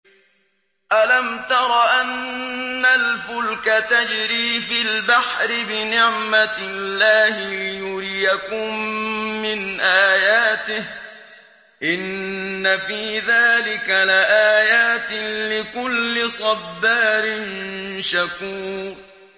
أَلَمْ تَرَ أَنَّ الْفُلْكَ تَجْرِي فِي الْبَحْرِ بِنِعْمَتِ اللَّهِ لِيُرِيَكُم مِّنْ آيَاتِهِ ۚ إِنَّ فِي ذَٰلِكَ لَآيَاتٍ لِّكُلِّ صَبَّارٍ شَكُورٍ